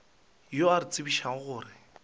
yo a re tsebišago gore